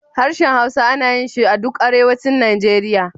Harshen Hausa ana yin shi duk Arewacin Nigeria.